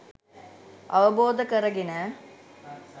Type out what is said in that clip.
අවබෝධ කරගෙන